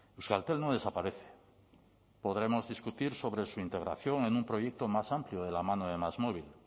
euskaltel no desaparece podremos discutir sobre su integración en un proyecto más amplio de la mano de másmóvil